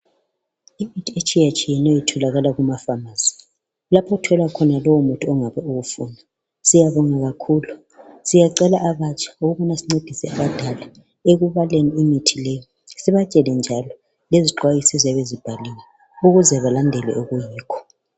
Imithi etshiyetshiyeneyo itholakala kumaFamasi, kulapho othola khona lowo muthi ongabe uwufuna siyabonga kakhulu siyacela abatsha ukuba sincedise intandane ekubaleni imithi le sibatshele njalo lezixwayiso eziyabe zibhaliwe ukuze balandele okuyikho.